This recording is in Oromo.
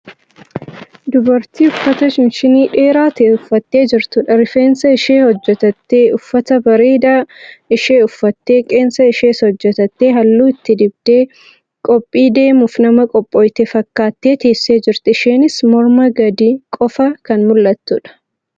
Dubartii uffata shinshinii dheeraa ta'e uffattee jirtudha. Rifeensa ishee hojatattee, uffata bareedaa ishee uffattee, qeensa ishees hojjatattee halluu itti dibdee qophii deemuuf nama qophaaye fakkaattee teessee jirti. Isheenis mormaa gadi qofa kan mul'attudha.